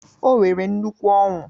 O nwere nnukwu Ọńụ